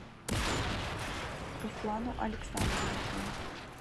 руслану александровичу